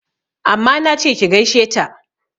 Amma nache ki gaishe ta!